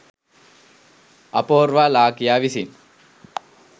අපෝර්වා ලාකියා විසින්